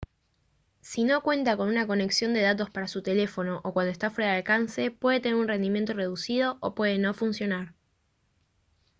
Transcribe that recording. si no cuenta con una conexión de datos para su teléfono o cuando está fuera de alcance puede tener un rendimiento reducido o puede no funcionar